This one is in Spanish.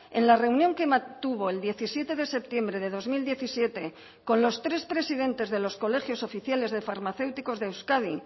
en la reunión que mantuvo el diecisiete de septiembre de dos mil diecisiete con los tres presidentes de los colegios oficiales de farmacéuticos de euskadi